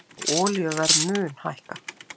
Já olíuverð mun hækka